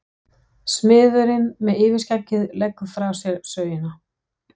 Smiðurinn með yfirskeggið leggur frá sér sögina.